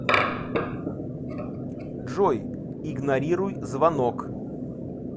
джой игнорируй звонок